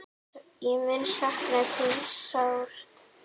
Ég mun sakna þín sárt.